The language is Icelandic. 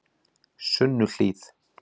Sunnuhlíð